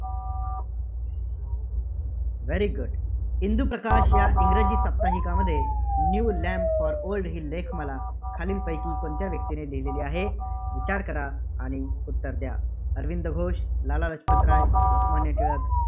Very good Induprakash या इंग्रजी साप्ताहिकामध्ये न्यू लॅम्प फॉर ओल्ड ही लेखमाला खालीलपैकी कोणत्या व्यक्तीने लिहिलेली आहे. विचार करा, आणि उत्तर द्या. अरविंद घोष, लाला लजपतराय, लोकमान्य टिळक,